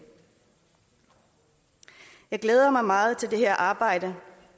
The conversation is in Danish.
jeg glæder mig meget til at arbejde